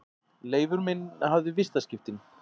Leifur minn hafði vistaskiptin.